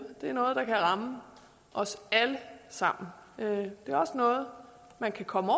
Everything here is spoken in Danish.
det er noget der kan ramme os alle sammen det er også noget man kan komme